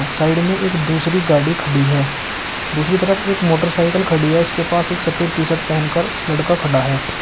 Side में एक दूसरी गाड़ी खड़ी है दूसरी तरफ एक मोटरसाइकल खड़ी है उसके पास एक सफेद टी शर्ट पहन कर लड़का खड़ा है।